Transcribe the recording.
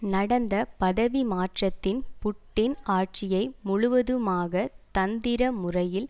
நடந்த பதவிமாற்றத்தில் புட்டின் ஆட்சியை முழுவதுமாகத் தந்திரமுறையில்